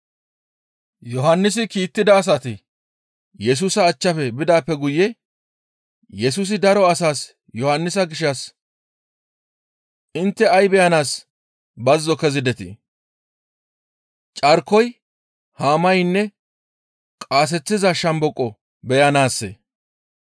Yohannisi kiittida asati Yesusa achchafe bidaappe guye Yesusi daro asaas Yohannisa gishshas, «Intte ay beyanaas bazzo kezidetii? Carkoy yaanne haa qaaseththiza shomboqo beyanaassee?